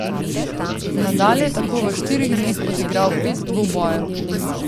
Nadal je tako v štirih dneh odigral pet dvobojev.